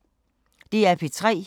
DR P3